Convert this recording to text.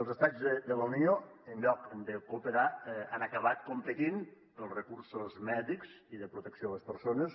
els estats de la unió en lloc de cooperar han acabat competint pels recursos mèdics i de protecció a les persones